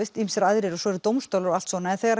ýmsir aðrir og svo eru dómstólar og allt svona en þegar